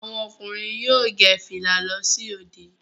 Àwọn ọkùnrin yóò gẹ fìlà lọ sí òde